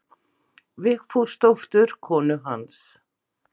Vigfúsdóttur konu hans.